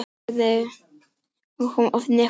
Miðeyrnabólga kemur oft í kjölfar sýkingar í nefkoki.